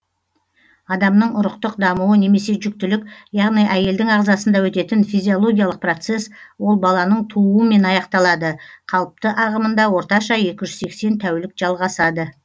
адамның ұрықтық дамуы немесе жүктілік яғни әйелдің ағзасында өтетін физиологиялық процесс ол баланың тууымен аяқталады қалыпты ағымында орташа екі жүз сексен тәулік жалғасады